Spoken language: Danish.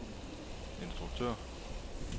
instruktør